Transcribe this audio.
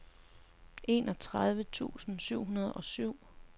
enogtredive tusind syv hundrede og syv